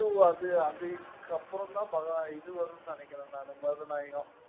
two அது அது இதுக்கப்புறம் தான் பகவா~ இது வரும்னு நினைக்கறேன் நானு மருதநாயகம்.